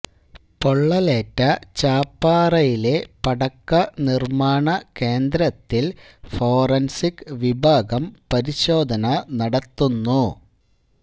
പൊള്ളലേറ്റ ചാപ്പാറയിലെ പടക്ക നിര്മാണ കേന്ദ്രത്തില് ഫോറന്സിക് വിഭാഗം പരിശോധന നടത്തുന്നു